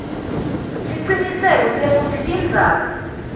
siciniseko sekutsi tindzaba